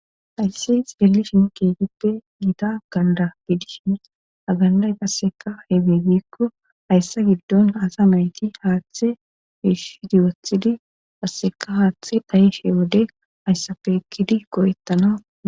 hayssi xelishin keehippe giita ganda gidishin a Ha ganday qasseka atibe gikko hayssa giddon asa nayti haaththe fiishidi wothidi asseka haaththe dhayishe wode hayssafe ekkidi go'eettana.